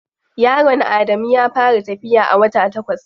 Yaron Adamu ya fara tafiya a wata takwas.